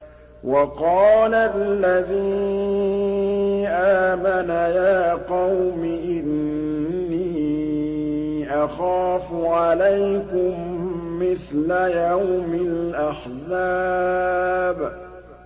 وَقَالَ الَّذِي آمَنَ يَا قَوْمِ إِنِّي أَخَافُ عَلَيْكُم مِّثْلَ يَوْمِ الْأَحْزَابِ